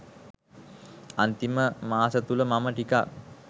අන්තිම මාසතුළ මම ටිකක්